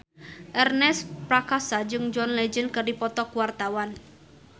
Ernest Prakasa jeung John Legend keur dipoto ku wartawan